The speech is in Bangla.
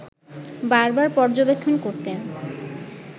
বারবার পর্যবেক্ষণ করতেন